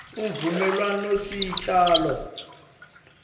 imvumelwanosicalo